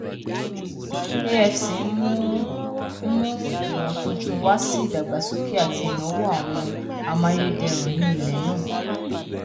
afc n mu n mu imotuntun wa si idagbasoke ati inawo awọn amayederun ni ilẹ naa